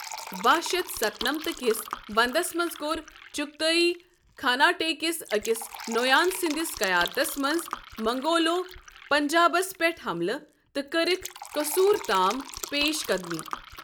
باہ شیتھ ستنمتھ کِس ونٛدس منٛزکوٚر، چغتائی خاناٹے کِس أکِس نویان سندِس قیادتس منٛز، منگولو پنجابس پٮ۪ٹھ حَملہٕ ،تہٕ كرٕكھ قصوٗر تام پیش قدمی ۔